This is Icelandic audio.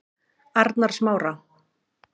Arnarsmára